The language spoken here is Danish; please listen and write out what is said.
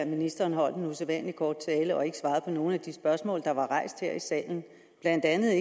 ministeren holdt en usædvanlig kort tale og ikke svarede på nogen af de spørgsmål der blev rejst her i salen blandt andet